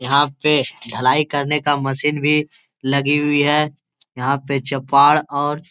यहाँ पे ढलाई करने का मशीन भी लगी हुई है यहाँ पे चपार और --